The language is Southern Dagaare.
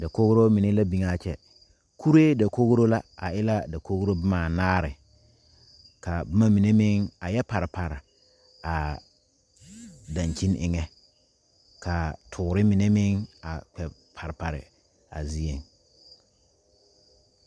Dakogro mine la biŋ a kyɛ kuree dakogro la a e la a dakogro boma anaare ka boma mine meŋ a yɛ pare pare a dankyini eŋɛ ka toore mine meŋ a kpɛ pare pare a zieŋ.